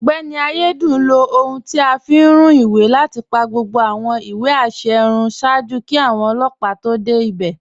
Ọgbẹni Ayédùn ló ọ̀hun tí a fi ń rún ìwé láti pa gbogbo awọn ìwé àṣẹ̀ rún ṣáàjú kí awọn ọlọpa tó dẹ́ ibẹ̀.